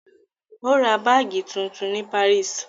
Ó ra báágì tuntun ní Paris.